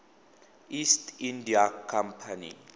east india company